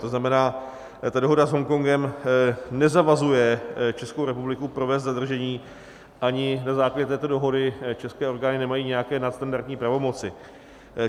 To znamená, ta dohoda s Hongkongem nezavazuje Českou republiku provést zadržení, ani na základě této dohody české orgány nemají nějaké nadstandardní pravomoci.